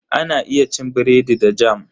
Ana iya cin biredi da "Jam".